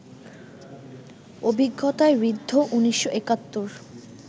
অভিজ্ঞতায় ঋদ্ধ ১৯৭১